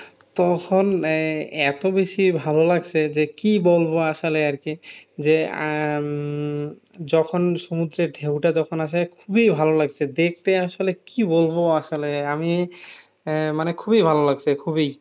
তখন এই এত বেশি ভালো লাগছে যে কি বলব আসলে আর কি যে আহ উম যখন সমুদ্রের ঢেউটা যখন আসে খুবই ভালো লাগছে দেখতে আসলে কি বলবো আসলে আমি আহ মানে খুবই ভালো লাগছে খুবই